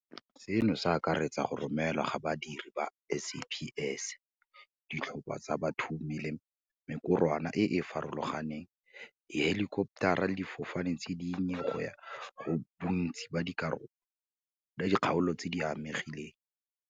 Seno se akaretsa go romelwa ga badiri ba SAPS, ditlhopha tsa bathumi le mekorwana e e farologaneng, dihelikoptara le difofane tse dinnye go ya go bontsi ba dikgaolo tse di amegileng.